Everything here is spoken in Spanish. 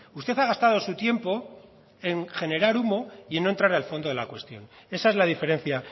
usted ha gastado su tiempo en generar humo y no entrar al fondo de la cuestión esa es la diferencia